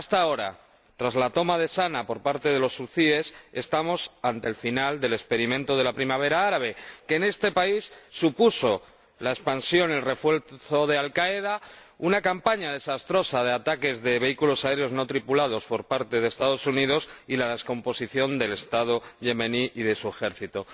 Ahora, tras la toma de Saná por parte de los hutíes, estamos ante el final del experimento de la Primavera Árabe, que en este país supuso la expansión, el refuerzo de Al Qaeda, una campaña desastrosa de ataques de vehículos aéreos no tripulados por parte de Estados Unidos y la descomposición del Estado yemení y de su ejército.